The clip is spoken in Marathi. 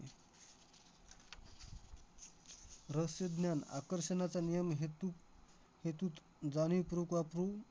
रहस्यज्ञान आकर्षणाचा नियम हेतू हेतूत जाणीवपूर्वक वापरू